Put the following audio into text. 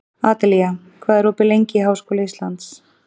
Adelía, hvað er opið lengi í Háskóla Íslands?